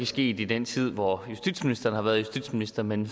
sket i den tid hvor justitsministeren har været justitsminister men